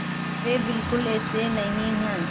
वे बिल्कुल ऐसे नहीं हैं